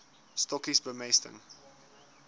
stokkies bemesting